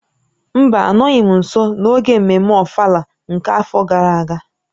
Mba, anọghị m nso n'oge mmemme ofala nke afọ gara aga